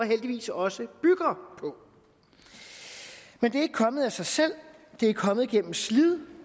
heldigvis også gør men det er ikke kommet af sig selv det er kommet gennem slid